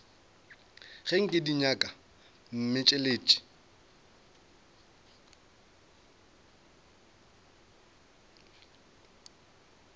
ga nke di nyaka mmešelet